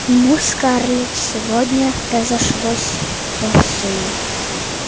ну скарлетт сегодня разошлось вовсю